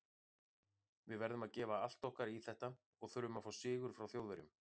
Við verðum að gefa allt okkar í þetta og þurfum að fá sigur frá Þjóðverjum.